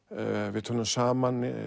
við tölum saman í